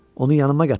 Onu yanıma gətir.